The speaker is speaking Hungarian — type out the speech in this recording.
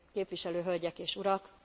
Képviselő hölgyek és urak!